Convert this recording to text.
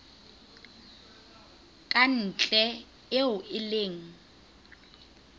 ka ntle eo e leng